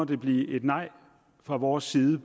det blive et nej fra vores side